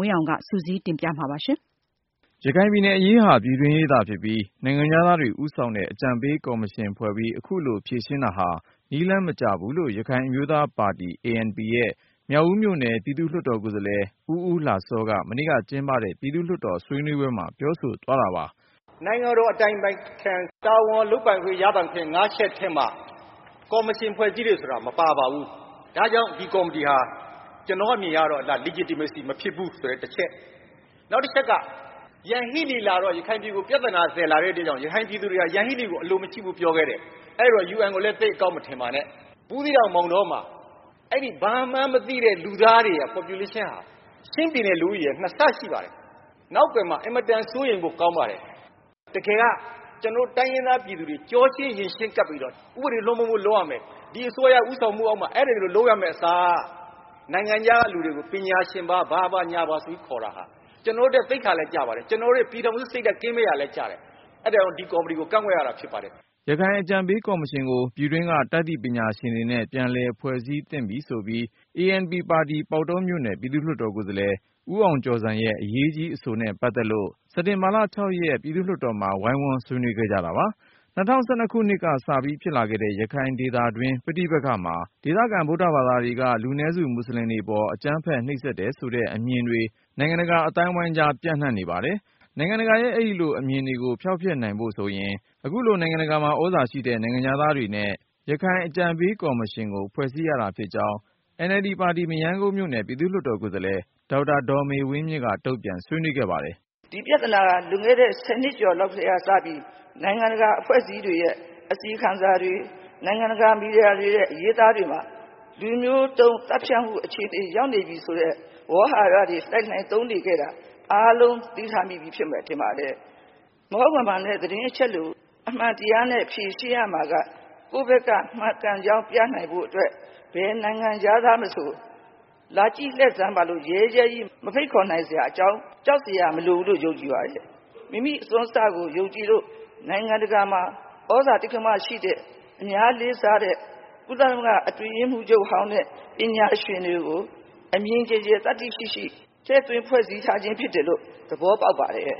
ဝင်းအောင်က ဆက်လက်တင်ပြပါမယ်။ ရခိုင်ပြည်နယ်အရေးဟာ ပြည်တွင်းရေးသာဖြစ်ပြီး နိုင်ငံခြားသားတွေဦးဆောင်တဲ့ အကြံပေးကော်မရှင် ဖွဲ့ပြီး အခုလိုဖြေရှင်းတာဟာ နည်းလမ်းမကျဘူးလို့ ရခိုင် အမျိုးသားပါတီ ANP ရဲ့မြောက်ဦးမြို့နယ် ပြည်သူ့လွှတ်တော်ကိုယ်စားလှယ် ဦးဦးလှစောက မနေ့ကကျင်းပတဲ့ ပြည်သူ့လွှတ် တော်ဆွေးနွေးပွဲမှာ ပြောဆို သွားတာပါ။ “ နိူင်ငံတော် အတိုင်ပင်ခံရဲ့ တာဝန်လုပ်ပိုင်ခွင့် ရပိုင်ခွင့် ၅ချက်ထဲမှာ ကော်မရှင်ဖွဲ့ စည်းတယ်ဆိုတာ မပါပါဘူး။ ဒါ့ကြောင့် ဒီကော်မတီဟာ ကျနော့်အမြင်အရတော့ Legitimacy မဖြစ်ဘူးဆိုတဲ့တချက်၊ နောက်တချက်က ယန်ဟီးလီလာတော့ ရခိုင်ပြည်ကို ပြဿနာ သယ်လာတဲ့အတွက်ကြောင့် ရခိုင်ပြည် သူတွေဟာ ယန်ဟီးလီကို အလိုမရှိဘူး ပြောခဲ့တယ်။ အဲဒီတော့ UN ကိုလဲ သိပ် အကောင်း မထင်ပါနဲ့၊ ဘူးသီးတောင် မောင်တောမှာ အဲ့ဒီ ဘာမှန်းမသိတဲ့ လူသားတွေရဲ့ Population ဟာ ချင်းပြည်နယ် လူဦးရေရဲ့ နှစ်ဆရှိ ပါတယ်။ နောက်ကွယ်မှာ အင်မတန် စိုးရိမ်ဖို့ကောင်းပါတယ်။ တကယ်က ကျနော်တို့ တိုင်းရင်းသားပြည်သူတွေ ကျောချင်းရင်ချင်း ကပ်ပြီး တော့ ဥပဒေလွှမ်းမိုးမှု လုပ်ရမယ်၊ ဒီအစိုးရ ဦးဆောင်မှုအောက်မှာ အဲဒီလို လုပ်ရမယ့်အစား နိုင်ငံခြားက လူတွေကို ပညာရှင်ပါ..ဘာပါ ညာပါ ဆိုပြီးတော့ ခေါ်တာဟာ ကျနော်တို့အတွက် သိက္ခာလည်း ကျပါတယ်။ ကျနော်တို့ရဲ့ ပြည်ထောင်စုစိတ်ဓါတ် ကင်းမဲ့ရာလည်း ကျပါတယ်။ အဲဒါကြောင့် ဒီကော်မတီကို ကန့်ကွက်ရတာ ဖြစ်ပါတယ်” ရခိုင်အကြံပေးကော်မရှင်ကို ပြည်တွင်းက တတ်သိပညာရှင်တွေနဲ့ ပြန်လည် ဖွဲ့စည်း သင့်တယ်ဆိုပြီး ANP ပါတီ ပေါက်တော်မြို့နယ် ပြည်သူ့ လွှတ်တော်ကိုယ်စားလှယ် ဦးအောင်ကျော်ဇံရဲ့ အရေးကြီးအဆိုနဲ့ ပတ်သက်လို့ စက်တင်ဘာ ၆-ရက်နေ့ က ပြည်သူ့လွှတ်တော်မှာ ဝိုင်းဝန်း ဆွေးနွေးခဲ့ကြတာပါ။ ၂၀၁၂ ခုနှစ်ကတည်းကဖြစ်လာခဲ့တဲ့ ရခိုင်ဒေသတွင်း ပဋိပက္ခမှာ ဒေသခံ ဗုဒ္ဓ ဘာသာတွေက လူနည်းစု မူဆလင်တွေပေါ် အကြမ်းဖက်နှိပ်စက် နေတယ်ဆိုတဲ့ အမြင်တွေ နိုင်ငံတကာအသိုင်းအဝိုင်းကြားမှာ ပျံ့နှံ့နေပါတယ်။ နိုင်ငံတကာရဲ့ အဲဒီလို အမြင်တွေကို ဖျောက်ဖျက်နိုင်ဖို့ဆိုရင် အခုလို နိုင်ငံတကာမှာ သြဇာ ရှိတဲ့ နိုင်ငံခြားသားတွေနဲ့ ရခိုင်အကြံပေးကော်မရှင်ကို ဖွဲ့စည်းရတာဖြစ်ကြောင်း NLD ပါတီ မရမ်းကုန်းမြို့နယ် ပြည်သူ့လွှတ်တော် ကိုယ်စားလှယ် ဒေါက်တာဒေါ်ေ မဝင်းမြင့်က တုန့်ပြန်ဆွေးနွေးခဲ့ပါတယ်။ “ ဒီပြဿနာဟာ လွန်ခဲ့တဲ့ ၁၀ နှစ်ကျော်လောက် ကတည်းကစပြီး နိုင်ငံတကာ အဖွဲ့ အစည်းတွေရဲ့ အစီရင်ခံစာတွေ နိုင်ငံတကာ မီဒီယာတွေရဲ့ အရေးအသားတွေမှာ လူမျိုးတုန်းသတ်ဖြတ်မှု အခြေအနေ ရောက်နေပြီဆိုတဲ့ ဝေါဟာရတွေ လှိုင်လှိုင် သုံးနေခဲ့တာ အားလုံး သတိထားမိပြီ ထင်ပါတယ်။ မဟုတ်မမှန်တဲ့ သတင်းအချက် အလက်ကို အမှန်တရားနဲ့ ဖြေရှင်းရမှာက ကိုယ့်ဖက်က မှန်ကန်ကြောင်း ပြနိုင်ဖို့ အတွက် ဘယ်နိုင်ငံခြားသားမဆို၊ လာကြည့်လှည့်စမ်းပါလို့ ရဲရဲကြီး မဖိတ်ခေါ်နိုင် စရာအကြောင်း ကြောက်စရာ မလိုဘူးလို့ ယုံကြည်ပါတယ်။ မိမိအစွမ်းအစကို ယုံကြည်လို့ နိုင်ငံတကာမှာ သြဇာတိက္ကမရှိတဲ့ အများလေးစားတဲ့ ကုလသမဂ္ဂ အတွင်းရေးမှူးချုပ်ဟောင်းနဲ့ ပညာရှင်တွေကို အမြင်ကျယ်ကျယ် သတ္တိရှိရှိ ထည့်သွင်း ဖွဲ့စည်း ထားခြင်းဖြစ်တယ်လို့ သဘောပေါက် ပါတယ်”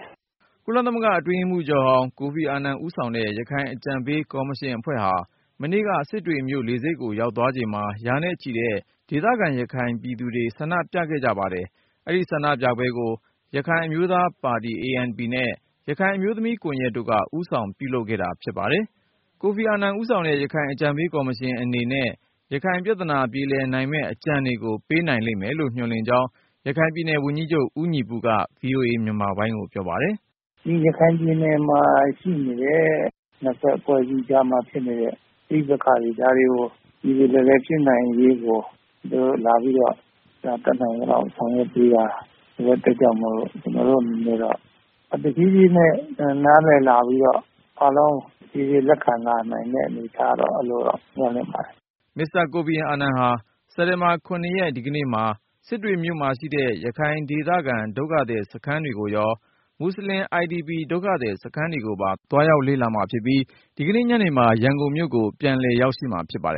ကုလအတွင်းရေးမှူးချုပ်ဟောင်း ကိုဖီအာနန်ဦးဆောင်တဲ့ ရခိုင်အကြံပေးကော်မရှင် အဖွဲ့ဟာ မနေ့က စစ်တွေမြို့လေဆိပ်ကို ရောက်သွားချိန်မှာ ရာနဲ့ချီတဲ့ ဒေသခံ ရခိုင်ပြည်သူတွေ ဆန္ဒပြခဲ့ကြပါတယ်။ ဒီဆန္ဒပြပွဲကို ရခိုင်အမျိုးသားပါတီ ANP နဲ့ ရခိုင်အမျိုးသမီးကွန်ယက်တို့က ဦးဆောင် ပြုလုပ်ခဲ့တာဖြစ်ပါတယ်။ ကိုဖီအာနန်ဦးဆောင်တဲ့ ရခိုင်အကြံပေးကော်မရှင်အနေနဲ့ ရခိုင်ပြဿနာပြေလည် နိုင်မယ့် အကြံတွေကို ပေးနိုင်မယ်လို့ မျှော်လင့်ကြောင့် ရခိုင်ပြည်နယ်ဝန်ကြီးချုပ် ဦးညီပုက VOA မြန်မာပိုင်းကို ပြောပါတယ်။ “ ဒီရခိုင်ပြည်နယ်မှာရှိနေတဲ့ နှစ်ဖက် အဖွဲ့အစည်းကြားမှာ ဖြစ်နေတဲ့ ပဋိပက္ခတွေ၊ ဒါတွေကို ပြေပြေလည်လည် ဖြစ်နိုင်ရေးကို သူတို့ လာပြီးတော့ တတ်နိုင် သလောက် ဆောင်ရွက်ပေးတာ ဆိုတဲ့အတွက်ကြောင့်မို့လို့ ကျနော်တို့အနေ နဲ့တော့၊ ဒါ တဖြည်းဖြည်းနဲ့ နားလည် လာပြီးတော့ အားလုံး တဖြည်းဖြည်း လက်ခံ လာနိုင်တဲ့ အနေအထားတော့ အဲလို မျှော်လင့်ပါတယ်” မစ္စတာ ကိုဖီအာနန်ဟာ စက်တင်ဘာ ၇-ရက် ဒီကနေ့မှာ စစ်တွေမြို့မှာရှိတဲ့ ရခိုင်ဒေသခံ ဒုက္ခသည်စခန်းတွေကိုရော ၊ မူဆလင် IDP ဒုက္ခသည် စခန်းတွေကိုပါ သွားရောက်လေ့လာမှာဖြစ်ပြီး ဒီကနေ့ညနေ ရန်ကုန်ကို ပြန်လည်ရောက်ရှိမှာဖြစ် ပါတယ်